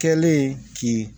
Kɛlen k'i